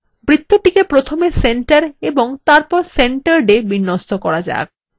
বৃত্তটিকে প্রথমে centre এবং তারপর centeredwe বিন্যস্ত করা যাক